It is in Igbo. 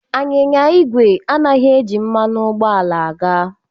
Anyịnya ígwè anaghị eji mmanụ ụgbọala aga.